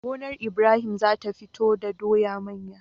Gonar Ibrahim zata fito do doya manya